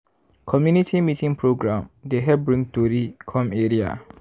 community meeting program dey help bring tori come area.